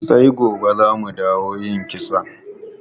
Sai gobe za mu dawo yin kitson.